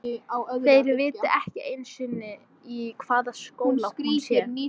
Þeir viti ekki einu sinni í hvaða skóla hún sé.